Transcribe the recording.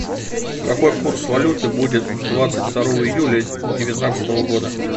какой курс валюты будет двадцать второго июля девятнадцатого года